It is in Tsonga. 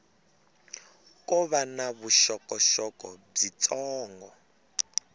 ko va na vuxokoxoko byitsongo